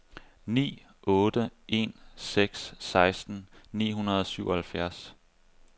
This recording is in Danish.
ni otte en seks seksten ni hundrede og syvoghalvfjerds